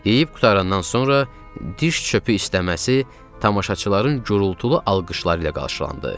Deyib qurtarandan sonra diş çəkmək istəməsi tamaşaçıların gurultulu alqışları ilə qarşılandı.